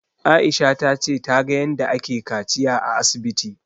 Aisha ta ce ta ga yanda ake kaciya a asibiti